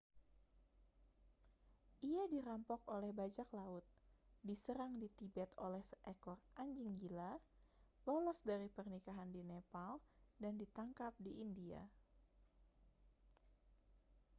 ia dirampok oleh bajak laut diserang di tibet oleh seekor anjing gila lolos dari pernikahan di nepal dan ditangkap di india